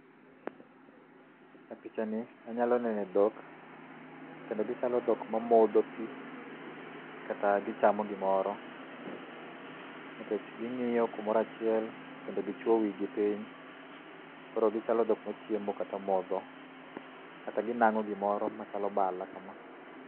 E pichani, anyalo neno dhok, kendo gichalo dhok mamodho pi, kata gichamo gimoro. Nikech gingíyo kumoro achiel, kendo gichwo wigi piny. Koro gichalo dhok machiemo kata modho. Kata ginangó gimoro machalo mala kama.